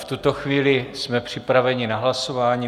V tuto chvíli jsme připraveni na hlasování.